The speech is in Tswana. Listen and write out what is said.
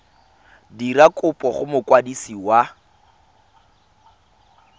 dira kopo go mokwadisi wa